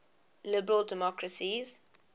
liberal democracies